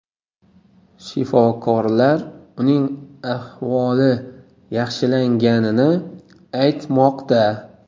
Shifokorlar uning ahvoli yaxshilanganini aytmoqda.